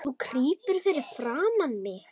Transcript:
Þú krýpur fyrir framan mig.